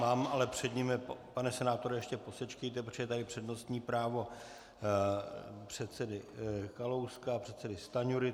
Mám ale před nimi, pane senátore, ještě posečkejte, protože je tady přednostní právo předsedy Kalouska a předsedy Stanjury.